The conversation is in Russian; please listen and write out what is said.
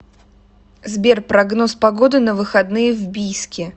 сбер прогноз погоды на выходные в бийске